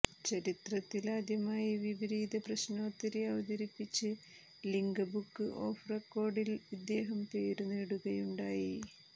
ചരിത്രത്തിൽ ആദ്യമായി വിപരീതപ്രശ്നോത്തരി അവതരിപ്പിച്ച് ലിംക ബുക് ഓഫ് റെക്കോർഡ്സിൽ ഇദ്ദേഹം പേരു നേടുകയുണ്ടായി